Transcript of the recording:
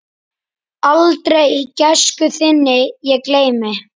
Aldrei gæsku þinni ég gleymi.